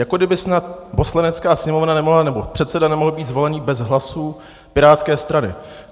Jako kdyby snad Poslanecká sněmovna nemohla, nebo předseda nemohl být zvolen bez hlasů pirátské strany.